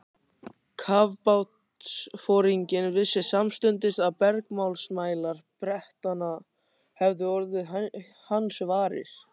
Kafbátsforinginn vissi samstundis að bergmálsmælar Bretanna hefðu orðið hans varir.